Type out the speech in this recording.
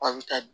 Aw bɛ taa